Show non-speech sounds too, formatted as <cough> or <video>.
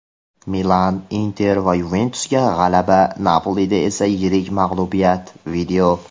"Milan", "Inter" va "Yuventus"da g‘alaba, "Napoli"da esa yirik mag‘lubiyat. <video>